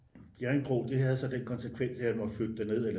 Bjerringbro det havde så den konsekvens at jeg måtte flytte derned eller